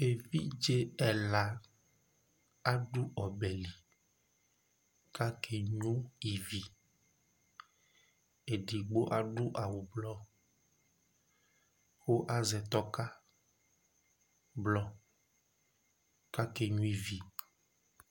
Evidze ɛla adu obe li, kʋ akeno ivi Edigbo adu awu ʋblɔ, kʋ azɛ tɔka ʋblɔ, kʋ akeno ivi